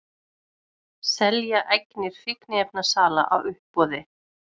Selja eignir fíkniefnasala á uppboði